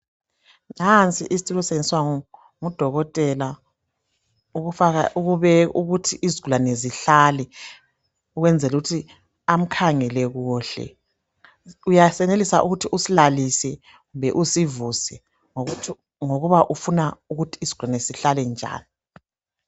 Nansi isitulo esisetshenziswa ngudokotela ukuthi izigulane zihlale ukwenzela ukuthi amkhangele kuhle uyenelisa ukuthi usilalise kumbe usivuse ngokuba ufuna ukuthi isigulane sihlale njani.